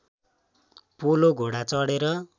polo घोडा चढेर